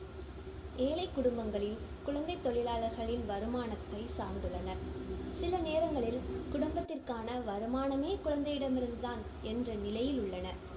ஏழைக்குடும்பங்களில் குழந்தைத் தொழிலாளர்களின் வருமானத்தைச் சார்ந்துள்ளனர். சிலநேரங்களில் குடும்பத்திற்கான வருமானமே குழந்தையிடமிருந்து தான் என்ற நிலையில் உள்ளனர்.